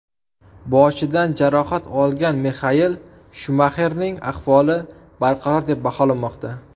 Boshidan jarohat olgan Mixael Shumaxerning ahvoli barqaror deb baholanmoqda.